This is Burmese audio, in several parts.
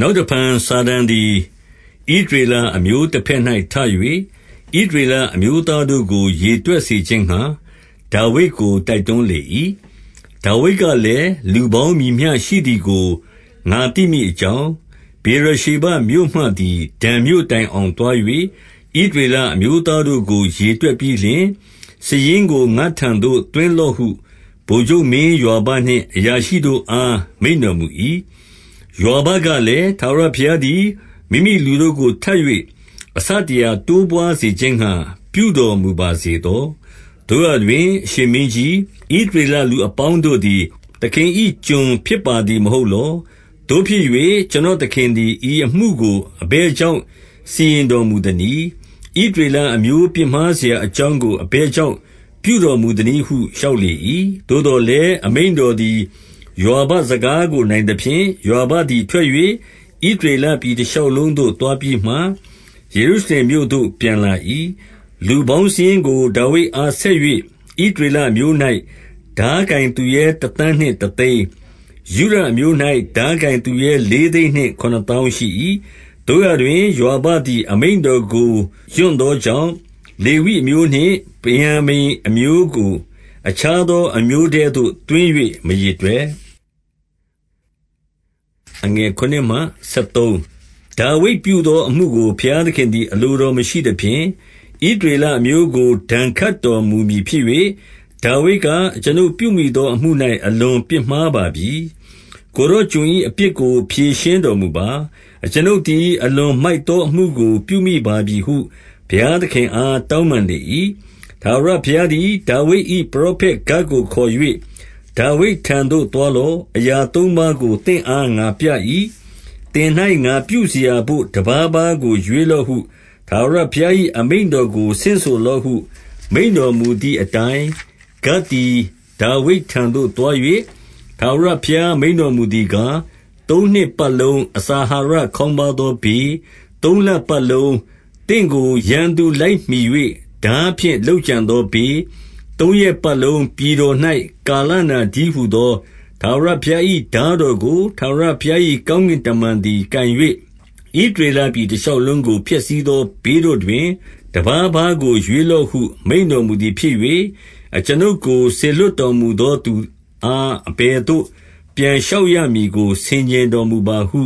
နောက်တဖန်စာတန်သည် ဣသရေလအမျိုး တဘက်၌ထ၍ ဣသရေလအမျိုးသားတို့ကို ရေတွက် စေခြင်းငှါ ဒါဝိဒ်ကို တိုက်တွန်းလေ၏။ 2 ဒါဝိဒ်ကလည်း၊လူပေါင်းမည်မျှ ရှိသည်ကို ငါသိ မည်အကြောင်း၊ ဗေရရှေဘမြို့မှသည် ဒန်မြို့တိုင်အောင် သွား၍ ဣသရေလအမျိုးသားတို့ ကိုရေတွက်ပြီးလျှင်၊ စာရင်းကို ငါ့ထံသို့ သွင်းလော့ဟု ဗိုလ်ချုပ်မင်းယွာဘနှင့် အရာရှိတို့အား မိန့်တော်မူ၏။ 3 ယွာဘကလည်း၊ ထာဝရဘုရားသည် မိမိလူတို့ကို ထပ်၍ အဆတရာ တိုးပွါးစေခြင်းငှါ ပြုတော်မူပါစေ သော။ သို့ရာတွင် အရှင်မင်းကြီး၊ ဣသရေလလူအပေါင်း တို့သည် သခင်၏ကျွန်ဖြစ်ပါသည် မဟုတ်လော။ သို့ဖြစ် ၍ ကျွန်တော်သခင်သည် ဤအမှုကိုအဘယ်ကြောင့် စီရင်တော်မူသနည်း။ ဣသရေလအမျိုး ပြစ်မှားစရာ အကြောင်းကို အဘယ်ကြောင့် ပြုတော်မူသနည်းဟု လျှောက်လေ၏။ 4 သို့သော်လည်း အမိန့်တော်သည် ယွာဘစကား ကို နိုင်သဖြင့်၊ ယွာဘသည်ထွက်၍ ဣသရေလပြည် တရှောက်လုံးသို့ သွားပြီးမှ၊ ယေရုရှလင်မြို့သို့ ပြန်လာ၏။ 5 လူပေါင်းစာရင်းကို ဒါဝိဒ်အား ဆက်၍၊ ဣသ ရေလအမျိုး၌ ထားကိုင်သူရဲတသန်းနှင့် တသိန်း၊ ယုဒ အမျိုး၌ ထားကိုင်သူရဲလေးသိန်းနှင့် ခုနစ်သောင်းရှိ၏။ 6 သို့ရာတွင် ယွာဘသည် အမိန့်တော်ကို ရွံ့သော ကြောင့်၊ လေဝိအမျိုးနှင့်ဗင်္ယာမိန်အမျိုးကို အခြားသော အမျိုးထဲသို့သွင်း၍ မရေတွက်။ 7 ဒါဝိဒ်ပြုသောအမှုကို ဘုရားသခင်သည် အလိုတော်မရှိသဖြင့်၊ ဣသရေလအမျိုးကို ဒဏ်ခတ်တော် မူမည်ဖြစ်၍၊ 8 ဒါဝိဒ်က၊ အကျွန်ုပ်ပြုမိသော အမှု၌အလွန် ပြစ်မှားပါပြီ။ ကိုယ်တော်ကျွန်၏ အပြစ်ကို ဖြေရှင်း တော်မူပါ။ အကျွန်ုပ်သည် အလွန်မိုက်သော အမှုကို ပြုမိပါပြီဟု ဘုရားသခင်အား တောင်းပန်လေ၏။ 9 ထာဝရဘုရားသည် ဒါဝိဒ်၏ ပရောဖက်ဂဒ်ကို ခေါ်၍၊ 10 ဒါဝိဒ်ထံသို့သွားလော့။ အရာသုံးပါးကို သင့်အား ငါပြ၏။ သင်၌ ငါပြုစရာဘို့ တပါးပါးကိုရွေးလော့ဟု ထာဝရဘုရား၏ အမိန့်တော်ကို ဆင့်ဆိုလော့ဟု မိန့်တော်မူသည်အတိုင်း၊ 11 ဂဒ်သည်ဒါဝိဒ်ထံသို့သွား၍ ထာဝရဘုရား မိန့်တော်မူသည်ကား၊ 12 သုံးနှစ်ပတ်လုံး အစာအာဟာရခေါင်းပါးသော ဘေး၊ သုံးလပတ်လုံး သင့်ကို ရန်သူလိုက်မှီ၍ ထားဖြင့် လုပ်ကြံသောဘေး၊ သုံးရက်ပတ်လုံး ပြည်တော် ၌ ကာလနာတည်းဟူသောထာဝရဘုရား၏ ထားတော် ကို၊ ထာဝရဘုရား၏ကောင်းကင်တမန်သည် ကိုင်၍ ဣသရေလပြည် တရှောက်လုံးကို ဖျက်ဆီးသော ဘေးတို့တွင် တပါးပါးကိုရွေးလော့ဟု မိန့်တော်မူသည် ဖြစ်၍၊ အကျွန်ုပ်ကို စေလွှတ်တော်မူသောသူအား အဘယ်သို့ ပြန်လျှောက်ရမည်ကို ဆင်ခြင်တော်မူပါဟု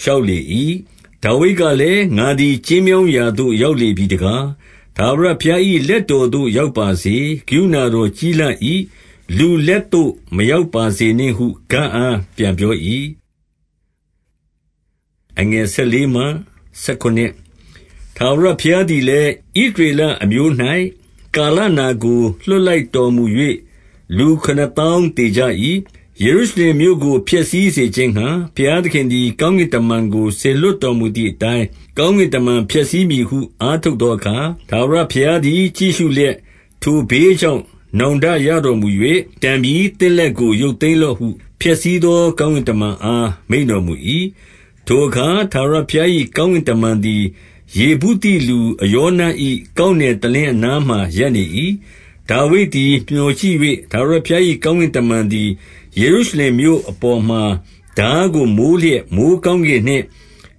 လျှောက်လေ၏။ 13 ဒါဝိဒ်ကလည်း၊ ငါသည် ကျဉ်းမြောင်းရာသို့ ရောက်လေပြီတကား။ ထာဝရဘုရား၏လက်တော်သို့ ရောက်ပါစေ။ ကရုဏတော်ကြီးလှ၏။ လူလက်သို့ မရောက်ပါစေနှင့်ဟုဂဒ်အားပြန်ပြော၏။ 14 ထာဝရဘုရားသည်လည်း၊ ဣသရေလအမျိုး၌ ကာလနာကို လွှတ်လိုက်တော်မူ၍ လူခုနစ်သောင်း သေကြ၏။ 15 ယေရုရှလင်မြို့ကို ဖျက်ဆီးစေခြင်းငှါ ဘုရား သခင်သည် ကောင်းကင်တမန်ကို စေလွှတ်တော်မူသည် အတိုင်း၊ ကောင်းကင်တမန် ဖျက်ဆီးမည်ဟု အားထုတ် သောအခါ၊ ထာဝရဘုရားသည် ကြည့်ရှုလျက်၊ ထိုဘေး ကြောင့် နောင်တရတော်မူ၍၊ တန်ပြီ။ သင့်လက်ကို ရုပ်သိမ်းလော့ဟု ဖျက်ဆီးသော ကောင်းကင်တမန်အား မိန့်တော်မူ၏။ ထိုအခါ ထာဝရဘုရား၏ ကောင်းကင် တမန်သည်၊ ယေဗုသိလူအရောန၏ ကောက်နယ်တလင်း အနားမှာ ရပ်နေ၏။ 16 ဒါဝိဒ်သည် မျှော်ကြည့်၍၊ ထာဝရဘုရား၏ ကောင်းကင်တမန် သည်ယေရုရှလင်မြို့အပေါ် မှာထား ကို မိုးလျက်မိုဃ်းကောင်းကင်နှင့်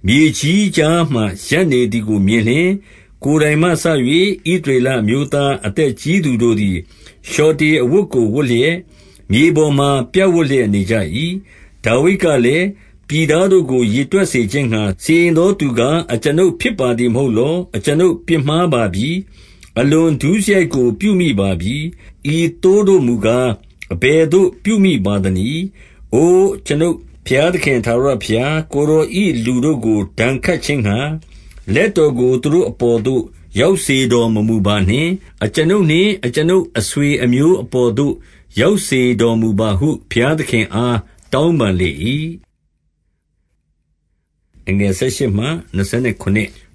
မြေကြီးကြားမှာ ရပ်နေ သည်ကိုမြင်လျှင်၊ ကိုယ်တိုင်မှစ၍ ဣသရေလအမျိုးသား အသက်ကြီးသူတို့သည် လျှော်တေအဝတ်ကို ဝတ်လျက် မြေပေါ်မှာ ပြပ်ဝပ်လျက်နေကြ၏။ 17 ဒါဝိဒ်ကလည်း၊ ပြည်သားတို့ကို ရေတွက်စေခြင်း ငှါ စီရင်သော သူကား အကျွန်ုပ်ဖြစ်ပါသည်မဟုတ်လော။ အကျွန်ုပ်ပြစ်မှားပါပြီ။ အလွန်ဒုစရိုက်ကို ပြုမိပါပြီ။ ဤသို့ တို့မူကား အဘယ်သို့ ပြုမိပါသနည်း။ အိုအကျွန်ုပ် ဘုရားသခင် ထာဝရဘုရား၊ ကိုယ်တော်၏လူတို့ကို ဒဏ် ခတ်ခြင်းငှါ လက်တော်ကိုသူတို့အပေါ်သို့ ရောက်စေ တော်မမူပါနှင့်။ အကျွန်ုပ် နှင့်အကျွန်ုပ်အဆွေအမျိုး အပေါ်သို့ ရောက်စေတော်မူပါဟု ဘုရားသခင်အား တောင်းပန်လေ၏။ 18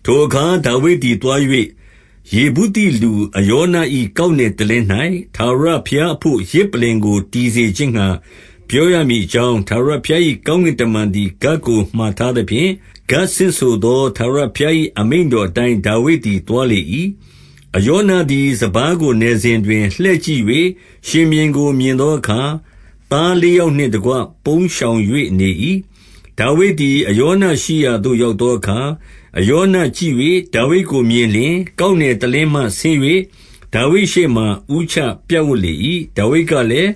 ထိုအခါဒါဝိဒ်သည် သွား၍၊ ယေဗုသိလူ အရော န၏ကောက်နယ်တလင်း၌ထာဝရဘုရား အဘို့ယဇ်ပလ္လင် ကို တည်စေခြင်းငှါ ပြောရမည်အကြောင်း၊ ထာဝရဘုရား ၏ကောင်းကင်တမန်သည် ဂဒ်ကိုမှာထားသဖြင့်၊ 19 ဂဒ်ဆင့်ဆိုသော ထာဝရဘုရား၏အမိန့်တော် အတိုင်း ဒါဝိဒ်သည် သွားလေ၏။ 20 အရောနသည်စပါးကိုနယ်စဉ်တွင်၊ လှည့်ကြည့် ၍ ရှင်ဘုရင်ကို မြင်သောအခါ၊ သားလေးယောက်နှင့် တကွ ပုန်းရှောင်၍နေ၏။ 21 ဒါဝိဒ်သည် အရောနရှိရာသို့ ရောက်သောအခါ၊ အရောနကြည့်၍ ဒါဝိဒ်ကိုမြင်လျှင်၊ ကောက်နယ်တလင်း မှဆင်း၍ ဒါဝိဒ်ရှေ့မှာဦးချပြပ်ဝပ်လေ၏။ 22 ဒါဝိဒ်ကလည်း၊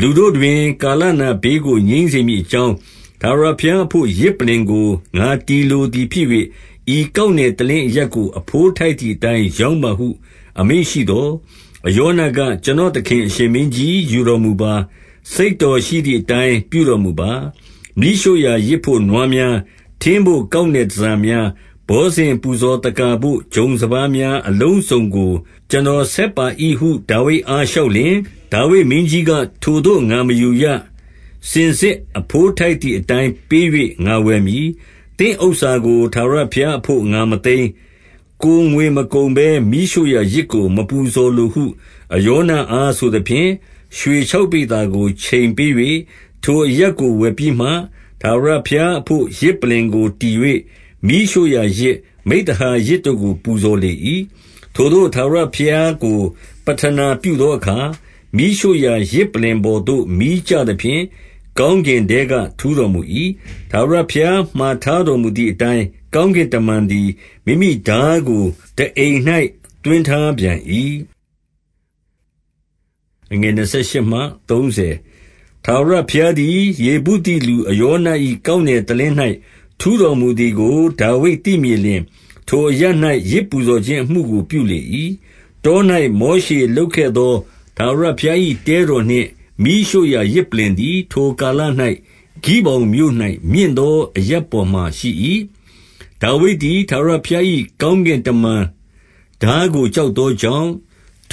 လူတို့တွင် ကာလနာဘေးကို ငြိမ်းစေမည်အကြောင်း၊ ထာဝရဘုရားအဘို့ ယဇ်ပလ္လင် ကို ငါတည်လိုသည်ဖြစ်၍၊ ဤကောက်နယ်တလင်းအရပ် ကို အဘိုးထိုက်သည်အတိုင်း ရောင်းပါဟု အမိန့်ရှိသော်၊ 23 အရောနက၊ ကျွန်တော်သခင် အရှင်မင်းကြီး ယူတော်မူပါ။ စိတ်တော်ရှိသည်အတိုင်း ပြုတော်မူပါ။ မီးရှို့ရာယဇ်ဘို့နွားများ၊ ထင်းဘို့ ကောက်နယ်တန်ဆာ များ၊ ဘောဇဉ်ပူဇော်သက္ကာဘို့ ဂျုံစပါးများအလုံးစုံကို ကျွန် တော်ဆက်ပါ၏ဟု ဒါဝိဒ်အားလျှောက်လျှင်၊ 24 ဒါဝိဒ်မင်းကြီးက၊ ထိုသို့ငါမယူရ။ စင်စစ်အဘိုး ထိုက်သည်အတိုင်း ပေး၍ငါဝယ်မည်။ သင့်ဥစ္စာကို ထာဝရဘုရားအဘို့ ငါမသိမ်း။ ကိုယ်ငွေမကုန်ဘဲ မီးရှို့ရာ ယဇ်ကို မပူဇော်လိုဟု အရောနအားဆိုသဖြင့်၊ 25 ရွှေခြောက်ပိဿာကို ချိန်ပေး၍ ထိုအရပ်ကို ဝယ်ပြီးမှ၊ 26 ထာဝရဘုရားအဘို့ ယဇ်ပလ္လင်ကို တည်၍၊ မီးရှို့ ရာယဇ်၊ မိဿဟာယယဇ်တို့ကို ပူဇော်လေ၏။ ထိုသို့ ထာဝရဘုရားကို ပဌနာပြုသောအခါ၊ မီးရှို့ရာယဇ်ပလ္လင် ပေါ်သို့ မီကျသဖြင့် ကောင်းကင်ထဲက ထူးတော်မူ၏။ 27 ထာဝရဘုရားမှာထားတော်မူသည်အတိုင်း၊ ကောင်းကင်တမန်သည် မိမိထားကို ထားအိမ်၌သွင်းထား ပြန်၏။ 28 ထာဝရဘုရားသည် ယေဗုသိလူ အရောန၏ ကောက်နယ်တလင်း၌ ထူးတော်မူသည်ကို ဒါဝိဒ်သိမြင် လျှင်၊ ထိုအရပ်၌ ယဇ်ပူဇော်ခြင်းအမှုကို ပြုလေ၏။ 29 တော၌မောရှေလုပ်ခဲ့သော ထာဝရဘုရား၏ တဲတော်နှင့် မီးရှို့ရာယဇ်ပလ္လင်သည်၊ ထိုကာလ၌ ဂိဗောင် မြို့၌ မြင့်သောအရပ်ပေါ်မှာရှိ၏။ 30 ဒါဝိဒ်သည်ထာဝရဘုရား၏ ကောင်းကင်တမန်ထားကို ကြောက်သောကြောင့်၊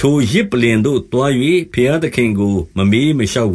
ထိုယဇ် ပလ္လင်သို့ သွား၍ဘုရားသခင်ကို မမေးမလျှောက်